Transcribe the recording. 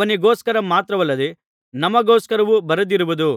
ಅವನಿಗೋಸ್ಕರ ಮಾತ್ರವಲ್ಲದೆ ನಮಗೋಸ್ಕರವೂ ಬರೆದಿರುವುದು